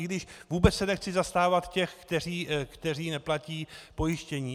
I když vůbec se nechci zastávat těch, kteří neplatí pojištění.